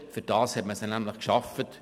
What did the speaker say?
Dafür hat man sie nämlich geschaffen.